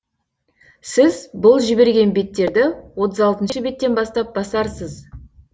сіз бұл жіберген беттерді отыз алтыншы беттен бастап басарсыз